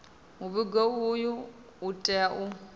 muvhigo uyu u tea u